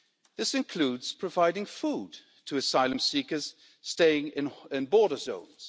This includes providing food to asylum seekers staying in border zones.